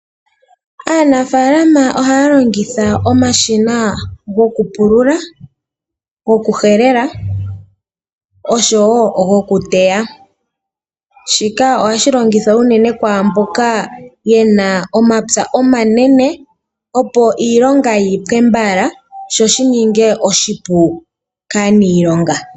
Aanafaalama ohaya longitha omashina goku pulula, goku helela osho woo goku teya . Shika oha shi longithwa unene kwaamboka yena omapya omanene opo iilonga yi pwe mbala sho shi ninge oshipu kaaniilonga .